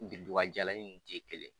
jalaninw ninnu tɛ kelen.